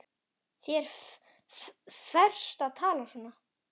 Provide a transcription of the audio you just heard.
Þér ferst að tala svona!